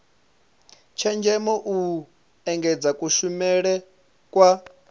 tshenzhemo u engedza kushumele kwa